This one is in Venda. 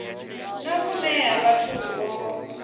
na vhune ha vhathu vho